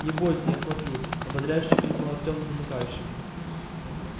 не бойся я смотрю ободряюще крикнул артём замыкающему